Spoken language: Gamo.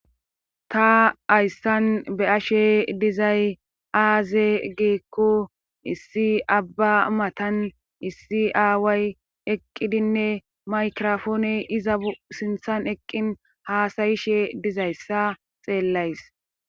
ta hayssan be ashe dizay aaze geekko issi abba matan issi aaway eqqidinne maykrofoone iza sinthan eqqin haasayishe dizayssa xeellays